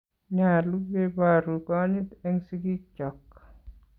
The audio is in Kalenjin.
Nyalu keporu konyit eng' sigik chok